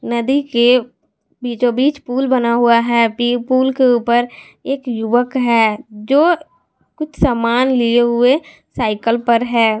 नदी के बीचों बीच पुल बना हुआ है पी पुल के ऊपर एक युवक है जो कुछ सामान लिए हुए साइकल पर है।